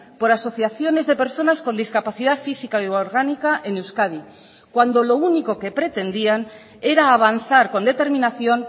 por asociaciones de personas con discapacidad física y orgánica en euskadi cuando lo único que pretendían era avanzar con determinación